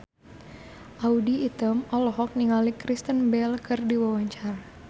Audy Item olohok ningali Kristen Bell keur diwawancara